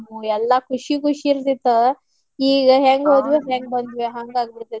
ಎಲ್ಲಾ ಖುಷಿ ಖುಷಿ ಇರ್ತಿತ್ತ ಈಗ ಹೆಂಗ್ ಹೋದ್ವ್ಯೋ ಹೆಂಗ್ ಬಂದ್ವೋ ಹಂಗ ಆಗಿಬಿಡ್ತೇತಿ.